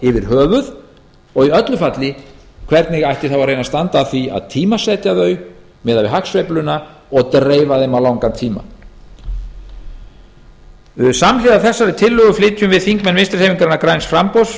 yfir höfuð og í öllu falli hvernig ætti þá að reyna standa að því að tímasetja þau miðað við hagsveifluna og dreifa þeim á langan tíma samhliða þessari tillögu flytjum við þingmenn vinstri hreyfingarinnar græns framboðs